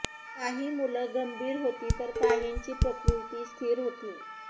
काही मुलं गंभीर होती तर काहीची प्रकृती स्थिर होती